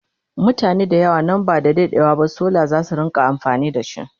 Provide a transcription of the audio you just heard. mutane da yawa nan ba da daɗewa ba solar zasu rinka amfani da shi